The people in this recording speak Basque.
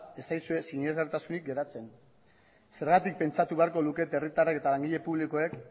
ez zaizue sinesgarritasunik geratzen zergatik pentsatu beharko lukete herritarrek eta langile publikoek